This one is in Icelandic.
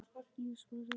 Jú svaraði hann.